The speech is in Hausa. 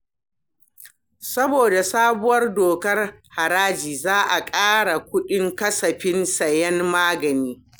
Saboda sabuwar dokar haraji, za a ƙara kuɗin kasafin sayen magani.